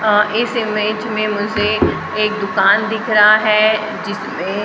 अह इस इमेज में मुझे एक दुकान दिख रहा है जिसमें--